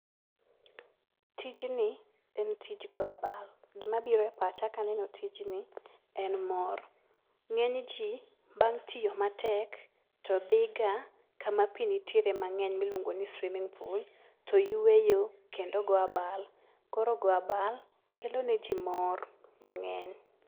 Tijni en tij go abal. Gima biro epacha kaneno tijni en mor. Ng'enyji bang' tiyo matek to dhiga kama pi nitiere mang'eny miluongo ni swimming pool, to yueyo kendo goyo abal. Koro goyo abal kelo neji mor mang'eny.